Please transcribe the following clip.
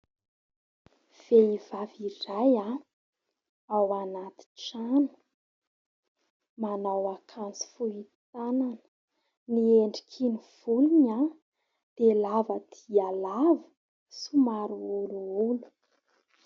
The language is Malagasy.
Vehivavy iray, ao anaty trano, manao akanjo fohy tanana, ny endriky ny volony dia lava dia lava somary olioly.